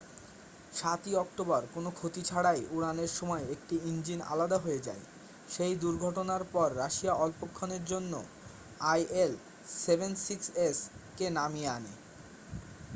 7'ই October কোনও ক্ষতি ছাড়াই উড়ানের সময় একটি ইঞ্জিন আলাদা হয়ে যায়। সেই দুর্ঘটনার পর রাশিয়া অল্পক্ষণের জন্য il-76s কে নামিয়ে আনে।